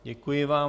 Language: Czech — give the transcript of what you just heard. Děkuji vám.